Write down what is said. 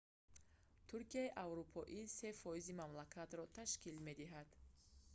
туркияи аврупоӣ фракияи шарқӣ ё румелия дар нимҷазираи балкан 3% мамлакатро ташкил медиҳад